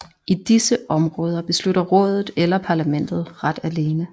I disse områder beslutter Rådet eller Parlamentet ret alene